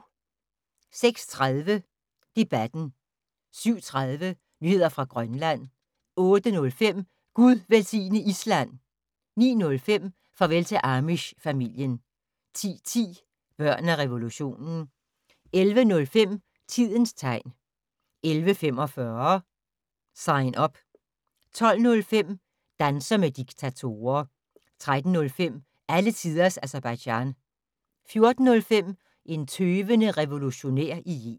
06:30: Debatten 07:30: Nyheder fra Grønland 08:05: Gud velsigne Island! 09:05: Farvel til Amish-familien 10:10: Børn af revolutionen 11:05: Tidens tegn 11:45: Sign Up 12:05: Danser med diktatorer 13:05: Alle tiders Aserbajdsjan 14:05: En tøvende revolutionær i Yemen